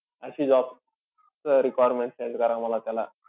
अशी job चं requirement send करा मला त्याला.